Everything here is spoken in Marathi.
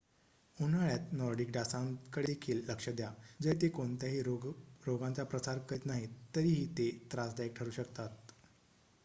उन्हाळ्यात नॉर्डिक डासांकडे देखील लक्ष द्या जरी ते कोणत्याही रोगांचाप्रसार करीत नाहीत तरीही ते त्रासदायक ठरू शकतात